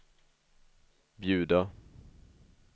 bjuda